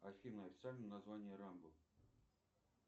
афина официальное название рэмбо